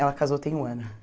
Ela casou tem um ano.